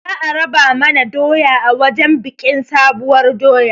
Za a raba mana doya a wajen biƙin sabuwar doya